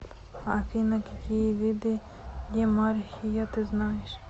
афина какие виды демархия ты знаешь